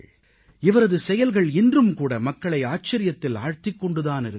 இவரது செயல்கள் இன்றும் கூட மக்களை ஆச்சரியத்தில் ஆழ்த்திக் கொண்டு தானிருக்கிறது